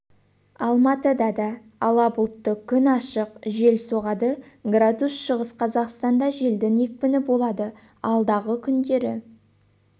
алматыда да ала бұлтты күн ашық жел соғады градус шығыс қазақстанда желдің екпіні болады алдағы күндері